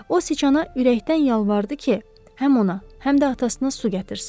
O sıçana ürəkdən yalvardı ki, həm ona, həm də atasına su gətirsin.